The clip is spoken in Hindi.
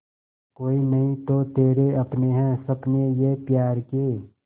कोई नहीं तो तेरे अपने हैं सपने ये प्यार के